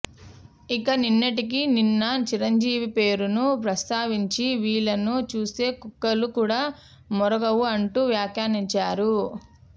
ఇక నిన్నటికి నిన్న చిరంజీవి పేరును ప్రస్తావించి వీళ్ళను చూస్తే కుక్కలు కూడా మొరగవు అంటూ వ్యాఖ్యానించారు